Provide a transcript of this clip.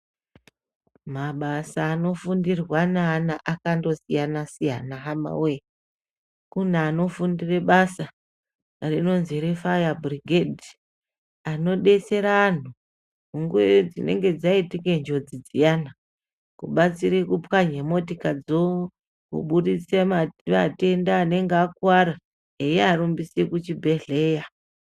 Mabasa anofundirwa naana akandosiyana siyana hamawee. Kune anfundire basa rinonzi reFaya Bhurigedhi. Anodetsere anhu munguwa dzinenge dzaitike njodzi dziyana kubatsire kupwanya motikadzo, kubuditse vatenda vanenge vakuara, vechiarumbise kuchibhedhleya.